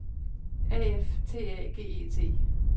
A F T A G E T